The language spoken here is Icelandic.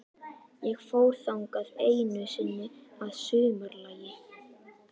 Ég fór þangað einu sinni að sumarlagi.